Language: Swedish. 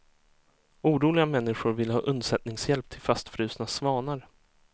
Oroliga människor ville ha undsättningshjälp till fastfrusna svanar.